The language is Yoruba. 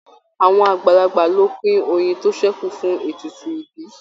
Àwọn àgbàlagbà ló pin oyin tó sẹku fún ètùtù ibí.